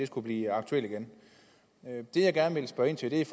skulle blive aktuelt igen det jeg gerne vil spørge ind til er